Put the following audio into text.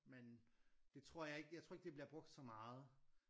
Men det tror jeg ikke jeg tror ikke det bliver brugt så meget